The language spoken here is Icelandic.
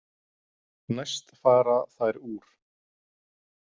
Næst fara þær úr.